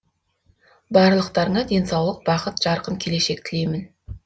барлықтарыңа денсаулық бақыт жарқын келешек тілеймін